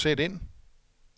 sæt ind